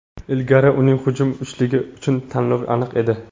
Ilgari uning hujum uchligi uchun tanlovi aniq edi.